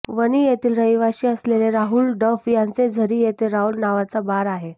वणी येथील रहिवाशी असलेले राहुल डफ यांचे झरी येथे राहुल नावाचा बार आहे